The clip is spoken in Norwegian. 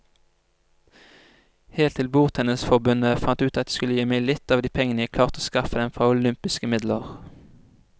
Helt til bordtennisforbundet fant ut at de skulle gi meg litt av de pengene jeg klarte å skaffe dem fra olympiske midler.